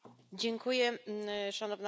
Szanowna Pani Przewodnicząca!